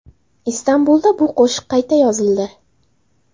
Istanbulda bu qo‘shiq qayta yozildi.